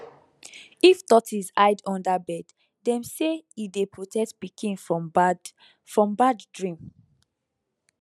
if tortoise hide under bed dem say e dey protect pikin from bad from bad dream